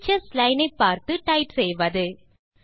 teachers line ஐ பார்த்து type செய்வது